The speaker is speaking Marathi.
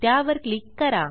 त्यावर क्लिक करा